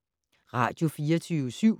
Radio24syv